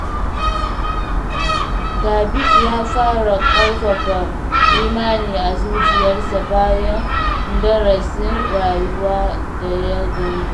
David ya fara ƙarfafa imani a zuciyarsa bayan darasin rayuwa da ya gani.